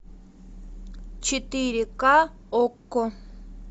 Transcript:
четыре ка окко